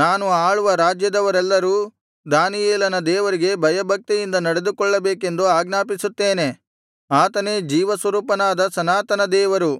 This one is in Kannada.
ನಾನು ಆಳುವ ರಾಜ್ಯದವರೆಲ್ಲರೂ ದಾನಿಯೇಲನ ದೇವರಿಗೆ ಭಯಭಕ್ತಿಯಿಂದ ನಡೆದುಕೊಳ್ಳಬೇಕೆಂದು ಆಜ್ಞಾಪಿಸುತ್ತೇನೆ ಆತನೇ ಜೀವಸ್ವರೂಪನಾದ ಸನಾತನ ದೇವರು